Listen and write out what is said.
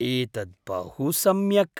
एतत् बहु सम्यक्!